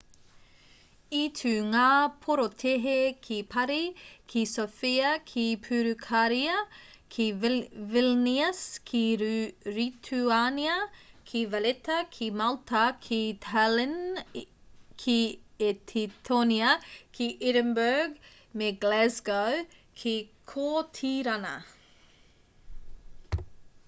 i tū ngā porotēhi ki parī ki sofia ki purukāria ki vilnius ki rituānia ki valetta ki malta ki tallinn ki etitōnia ki edinburgh me glasgow ki kōtirana